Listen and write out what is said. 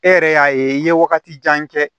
E yɛrɛ y'a ye i ye wagati jan kɛ